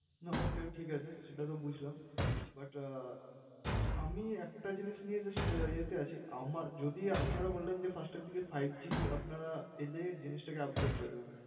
না, okay ঠিক আছে। সেটাতো বুজলাম but আমি একটা জিনিস নিয়ে just আহ ইয়েতে আছি, আমার যদি আপনারা বললেন যে first এর দিগে five g আপনারা এলে জিনিসটাকে upgrade করে দেবেন।